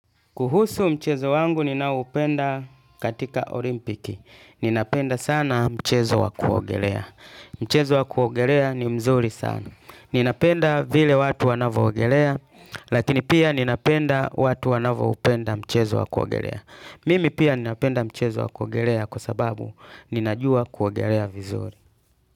Kuhusu mchezo wangu ninaoupenda katika olimpiki. Ninapenda sana mchezo wa kuogelea. Mchezo wakuogelea ni mzuri sana. Ninapenda vile watu wanavyoogelea, lakini pia ninapenda watu wanavyoupenda mchezo wa kuogelea. Mimi pia ninapenda mchezo wa kuogelea kwa sababu ninajua kuogelea vizuri.